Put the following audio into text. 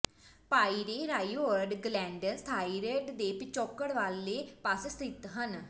ਪਾਈਰੇਰਾਇਓਰੋਡ glands thyroid ਦੇ ਪਿਛੋਕੜ ਵਾਲੇ ਪਾਸੇ ਸਥਿਤ ਹਨ